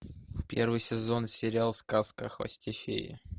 первый сезон сериал сказка о хвосте феи